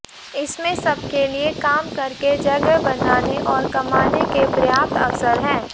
इसमें सबके लिए काम करके जगह बनाने और कमाने के पर्याप्त अवसर हैं